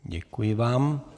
Děkuji vám.